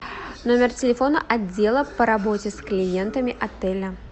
номер телефона отдела по работе с клиентами отеля